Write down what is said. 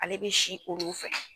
Ale be si koro fɛ